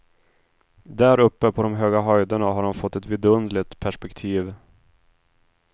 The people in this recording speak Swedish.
Däruppe på de höga höjderna har han fått ett vidunderligt perspektiv.